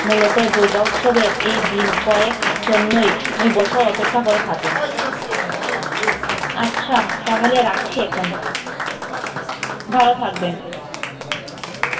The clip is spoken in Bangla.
মূলতঃ দূর্গা উৎসবে এই দিন কয়েক জন্যই বছর অপেক্ষা করে থাকে আচ্ছা তাহলে রাখছি এখন ভালো থাকবেন।